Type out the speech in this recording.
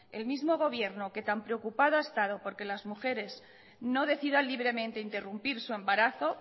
el mismo gobierno que tan preocupado ha estado porque las mujeres no decidan libremente interrumpir su embarazo